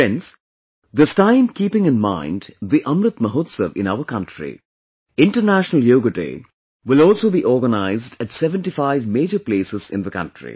Friends, this time keeping in mind the 'Amrit Mahotsav' in our country, 'International Yoga Day' will also be organized at 75 major places in the country